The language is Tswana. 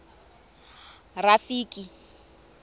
rafiki